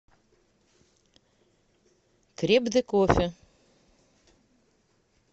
креп де кофе